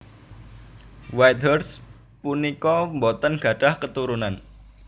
Whitehurst punika boten gadhah keturunan